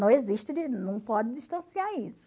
Não existe, não pode distanciar isso.